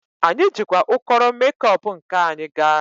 Anyị jikwa ụkọrọ mekop nke anyị gaa.